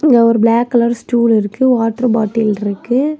இங்க ஒரு black colour stool இருக்கு வாட்டர் பாட்டில் இருக்கு.